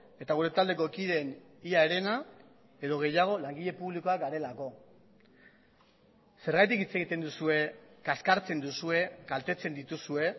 eta gure taldeko kideen ia herena edo gehiago langile publikoak garelako zergatik hitz egiten duzue kaskartzen duzue kaltetzen dituzue